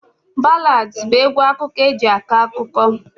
Ballads bụ egwu akụkọ eji akọ akụkọ